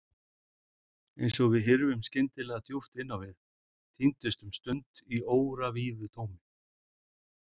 Eins og við hyrfum skyndilega djúpt inn á við, týndumst um stund í óravíðu tómi.